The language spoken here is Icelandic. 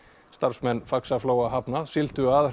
starfsmenn Faxaflóahafna sigldu að